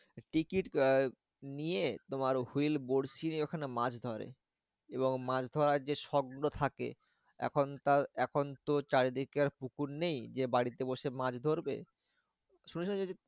Ticket আহ নিয়ে তোমার wheel বড়শি নিয়ে ওখানে মাছ ধরে। এবং মাছ ধরার যে শখ গুলো থাকে এখন তা এখন তো চারিদিকে আর পুকুর নেই যে বাড়িতে বসে মাছ ধরবে।